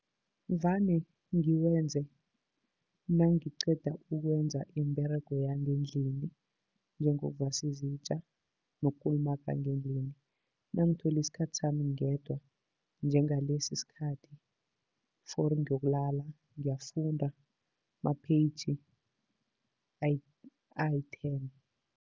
Vane ngiwenze nangiqeda ukwenza imiberego yangendlini, njengokuvasa izitja nokukulumaga ngendlini. Nangithole isikhathi sami ngedwa, njengalesi isikhathi fori ngiyokulala ngiyafunda ma-page ayi-ten.